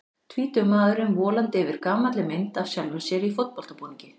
Tvítugur maðurinn volandi yfir gamalli mynd af sjálfum sér í fótboltabúningi.